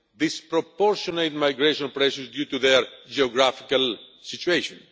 disproportionate migration pressures due to their geographical situation.